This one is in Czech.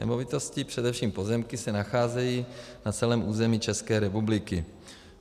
Nemovitosti, především pozemky, se nacházejí na celém území České republiky.